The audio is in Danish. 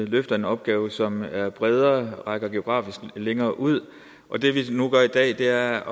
løftet en opgave som er bredere rækker geografisk længere ud og det vi nu gør i dag er